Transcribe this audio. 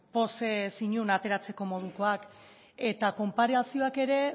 pozez inon ateratzeko modukoak eta konparazioak ere